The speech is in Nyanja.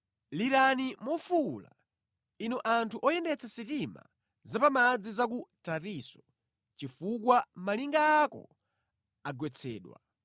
Lirani mofuwula, inu anthu oyendetsa sitima za pa madzi za ku Tarisisi; chifukwa malinga ako agwetsedwa!